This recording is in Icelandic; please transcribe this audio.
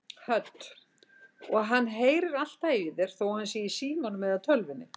Hödd: Og heyrir hann alltaf í þér þó hann sé í símanum eða tölvunni?